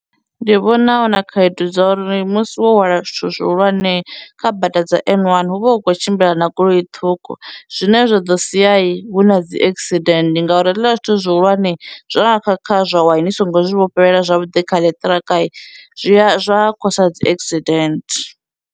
Ndi vhona huna khaedu dza uri musi wo hwala zwithu zwihulwane kha bada dza N1 hu vha hu khou tshimbila na goloi ṱhukhu zwine zwa ḓo sia huna dzi accident ngauri hezwiḽa zwithu zwihulwane zwa nga kha kha zwa wa ni singo vhofhelela zwavhuḓi kha ḽiṱirakhani zwiya zwa khosa dzi accident.